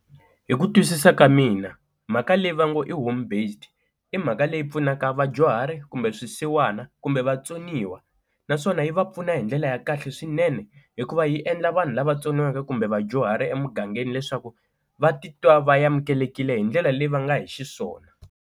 Hi ku twisisa ka mina mhaka leyi va ngo i home based i mhaka leyi pfunaka vadyuhari kumbe swisiwana kumbe vatsoniwa, naswona yi va pfuna hi ndlela ya kahle swinene hikuva yi endla vanhu lava tsoniweke kumbe vadyuhari emugangeni leswaku va titwa va amukelekile hi ndlela leyi va nga hi xiswona.